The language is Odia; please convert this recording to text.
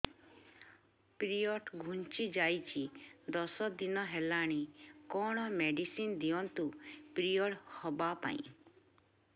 ପିରିଅଡ଼ ଘୁଞ୍ଚି ଯାଇଛି ଦଶ ଦିନ ହେଲାଣି କଅଣ ମେଡିସିନ ଦିଅନ୍ତୁ ପିରିଅଡ଼ ହଵା ପାଈଁ